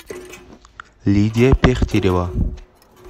лидия пехтерева